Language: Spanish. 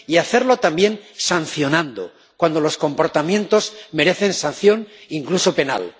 y hacerlo también sancionando cuando los comportamientos merezcan sanción incluso penal.